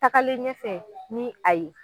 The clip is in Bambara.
Takalen ɲɛfɛ ni a ye,